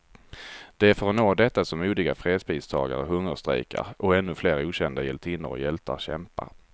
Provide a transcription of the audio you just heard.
Det är för att nå detta som modiga fredspristagare hungerstrejkar, och ännu flera okända hjältinnor och hjältar kämpar.